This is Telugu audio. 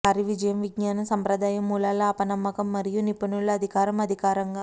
వారి విజయం విజ్ఞాన సంప్రదాయ మూలాల అపనమ్మకం మరియు నిపుణులు అధికారం ఆధారంగా